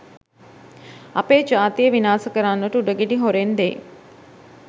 අපේ ජාතිය විනාස කරන්නට උඩගෙඩි හොරෙන් දෙයි